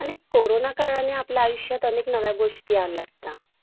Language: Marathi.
अ आकारा ने लहान कार्यालय जागा शोधाय